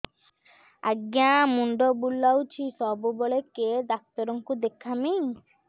ଆଜ୍ଞା ମୁଣ୍ଡ ବୁଲାଉଛି ସବୁବେଳେ କେ ଡାକ୍ତର କୁ ଦେଖାମି